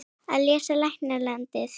Að lesa og lækna landið.